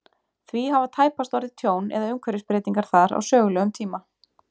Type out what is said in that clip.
Því hafa tæpast orðið tjón eða umhverfisbreytingar þar á sögulegum tíma.